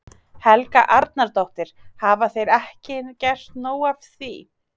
Helga Arnardóttir: Hafa þeir ekki gert nóg af því?